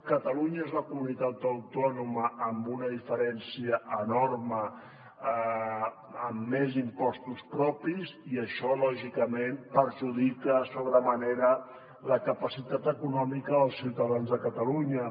catalunya és la comunitat autònoma amb una diferència enorme amb més impostos propis i això lògicament perjudica sobre manera la capacitat econòmica dels ciutadans de catalunya